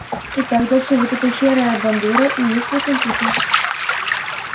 итак доча вот эта серая бандура и есть твой компьютер